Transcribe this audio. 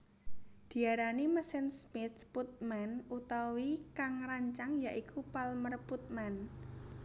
Diarani mesin Smith Putman awit kang ngrancang ya iku Palmer Putman